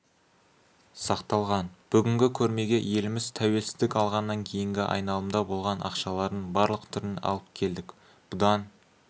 сақталған бүгінгі көрмеге еліміз тәуелсіздік алғаннан кейінгі айналымда болған ақшалардың барлық түрін алып келдік бұдан